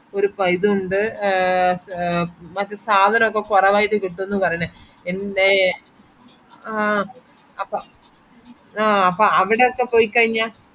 ഒരു ഒണ്ട് ഏർ ഏർ മറ്റേ സാധനൊക്കെ കൊറവായിട്ട് കിട്ടും പറേണ് എൻ്റെ ആഹ് അപ്പൊ ആഹ് അപ്പൊ അവിടെ ഒക്കെ പോയി കൈഞ്ഞാ